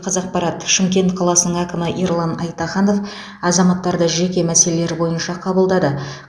қазақпарат шымкент қаласының әкімі ерлан айтаханов азаматтарды жеке мәселелері бойынша қабылдады